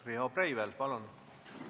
Riho Breivel, palun!